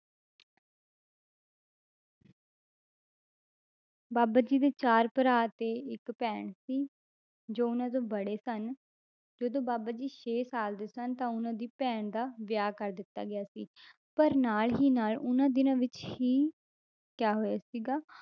ਬਾਬਾ ਜੀ ਦੇ ਚਾਰ ਭਰਾ ਤੇ ਇੱਕ ਭੈਣ ਸੀ, ਜੋ ਉਹਨਾਂ ਤੋਂ ਬੜੇ ਸਨ, ਜਦੋਂ ਬਾਬਾ ਜੀ ਛੇ ਸਾਲ ਦੇ ਸਨ ਤਾਂ ਉਹਨਾਂ ਦੀ ਭੈਣ ਦਾ ਵਿਆਹ ਕਰ ਦਿੱਤਾ ਗਿਆ ਸੀ ਪਰ ਨਾਲ ਹੀ ਨਾਲ ਉਹਨਾਂ ਦਿਨਾਂ ਵਿੱਚ ਹੀ ਕਿਆ ਹੋਇਆ ਸੀਗਾ,